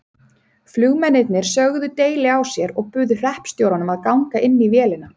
Flugmennirnir sögðu deili á sér og buðu hreppstjóranum að ganga inn í vélina.